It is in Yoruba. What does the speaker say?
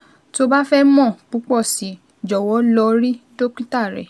Tó o bá fẹ́ mọ púpọ̀ sí i, jọ̀wọ́ lọ rí dókítà rẹ